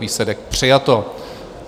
Výsledek: přijato.